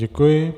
Děkuji.